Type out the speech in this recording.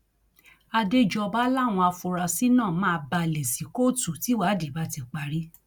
àdéjọba làwọn afurasí náà máa balẹ sí kóòtù tíwádìí bá ti parí